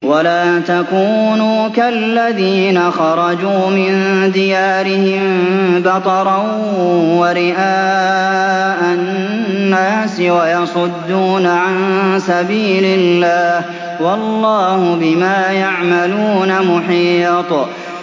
وَلَا تَكُونُوا كَالَّذِينَ خَرَجُوا مِن دِيَارِهِم بَطَرًا وَرِئَاءَ النَّاسِ وَيَصُدُّونَ عَن سَبِيلِ اللَّهِ ۚ وَاللَّهُ بِمَا يَعْمَلُونَ مُحِيطٌ